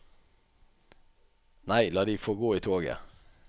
Nei, la de få gå i toget.